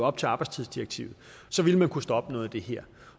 op til arbejdstidsdirektivet så ville man kunne stoppe noget af det her